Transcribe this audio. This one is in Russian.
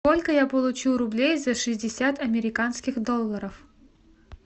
сколько я получу рублей за шестьдесят американских долларов